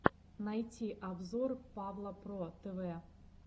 найти обзор павла про тв